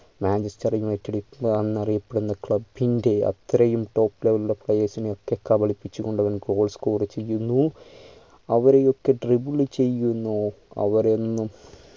manchester united എന്നറിയപ്പെടുന്ന club ൻ്റെ അത്രയും top level ൽ ഉള്ള players നെ ഒക്കെ കവളിപ്പിച്ചുകൊണ്ട് അവൻ goal score ചെയ്യുന്നു അവരെയൊക്കെ trouble ചെയ്യുന്നു അവേരയെല്ലും